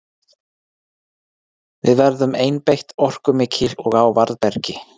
Við verðum einbeitt, orkumikil og á varðbergi.